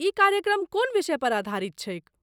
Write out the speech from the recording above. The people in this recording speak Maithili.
ई कार्यक्रम कोन विषयपर आधारित छैक?